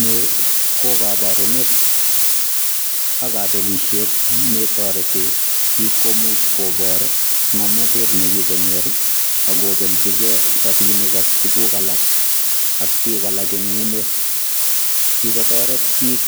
Ni ko koborunet ak kobelishet netoreti bik komuch kobor ngomnotet nekikonyor ak kobelji gee rabinik ak tuguk alak ak bik alak en emet, kikotoret bik